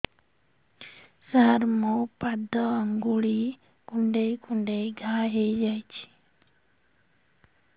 ସାର ମୋ ପାଦ ଆଙ୍ଗୁଳି କୁଣ୍ଡେଇ କୁଣ୍ଡେଇ ଘା ହେଇଯାଇଛି